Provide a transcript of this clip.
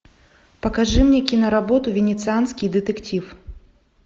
покажи мне киноработу венецианский детектив